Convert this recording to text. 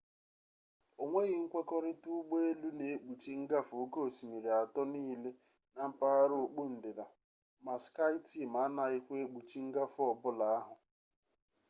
onweghi nkwekorita ụgbọ elu na-ekpuchi ngafe oke osimiri atọ niile na mpaghara okpu ndịda ma skyteam anaghịkwa ekpuchi ngafe ọ bụla ahụ